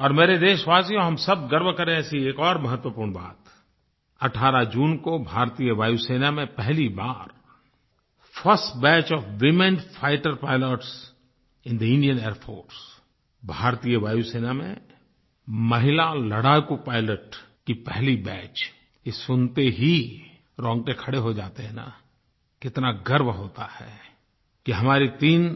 और मेरे देशवासियों हम सब गर्व करें ऐसी एक और महत्वपूर्ण बात 18 जून को भारतीय वायु सेना में पहली बार first batch of women fighter pilots in the Indian Air Force भारतीय वायुसेना में महिला लड़ाकू पाइलट की पहली बैच ये सुनते ही रौंगटे खड़े हो जाते हैं न कितना गर्व होता है कि हमारे तीन